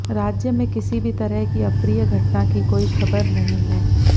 राज्य में किसी भी तरह की अप्रिय घटना की कोई खबर नहीं है